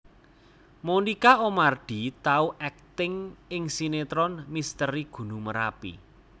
Monica Oemardi tau akting ing sinetron Misteri Gunung Merapi